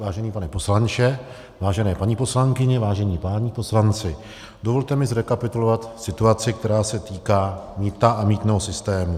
Vážený pane poslanče, vážené paní poslankyně, vážení páni poslanci, dovolte mi zrekapitulovat situaci, které se týká mýta a mýtného systému.